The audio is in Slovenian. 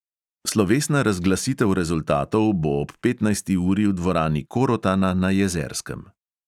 Slovesna razglasitev rezultatov bo ob petnajsti uri v dvorani korotana na jezerskem.